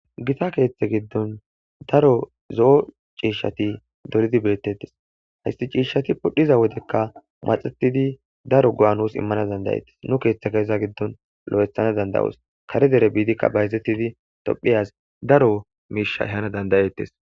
gita keeththe giddon daro zo'o ciishshati coridi beettettes haysti ciishshati pudhiza wodekka maxetidi daro go'a nus immana dandayettes nu keeththe keeza giddon lo'ethana dandayos kare dere biidikka bayzettidi tophiyaz daro miisha ehana dandayettes